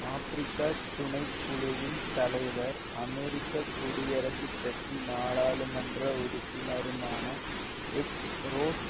ஆப்பிரிக்க துணை குழுவின் தலைவர் அமெரிக்க குடியரசுக் கட்சி நாடாளுமன்ற உறுப்பினருமான எட் ரொஸ்ட்